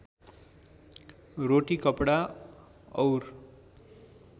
रोटी कपडा और